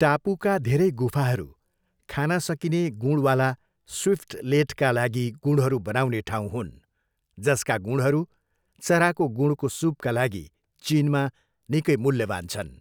टापुका धेरै गुफाहरू खान सकिने गुँडवाला स्विफ्टलेटका लागि गुँडहरू बनाउने ठाउँ हुन्, जसका गुँडहरू चराको गुँडको सुपका लागि चिनमा निकै मूल्यवान छन्।